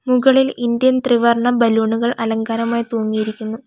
മുകളിൽ ഇന്ത്യൻ ത്രിവർണം ബലൂണുകൾ അലങ്കാരമായി തൂങ്ങിയിരിക്കുന്നു.